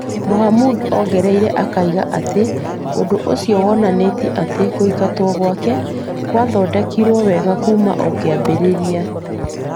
Mohamud ongereire akiuga atĩ ũndũ ũcio wonanagia atĩ kũingatwo gwake gwathondeketwo wega kuuma o kĩambĩrĩria .